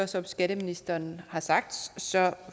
som skatteministeren har sagt